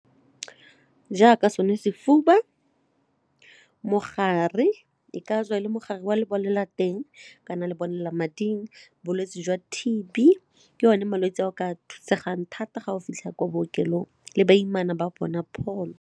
Jaaka sone sefuba, mogare e ka tswa e le mogare wa lebolelateng kana lebolelamading bolwetse jwa T_B ke one malwetse a o ka thusegang thata ga o fitlha kwa bookelong le baimana ba bona pholo.